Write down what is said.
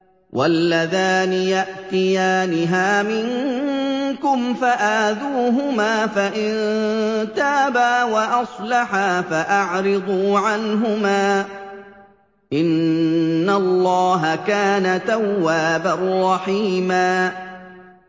وَاللَّذَانِ يَأْتِيَانِهَا مِنكُمْ فَآذُوهُمَا ۖ فَإِن تَابَا وَأَصْلَحَا فَأَعْرِضُوا عَنْهُمَا ۗ إِنَّ اللَّهَ كَانَ تَوَّابًا رَّحِيمًا